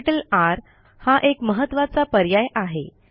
त्यापैकी R हा एक महत्त्वाचा पर्याय आहे